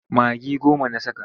Magi goma na saka.